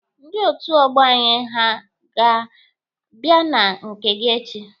Ndị otu ọgbọ anyị ha a ga-abịa na nke gị echi?